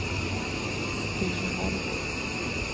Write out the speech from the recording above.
Stina Holm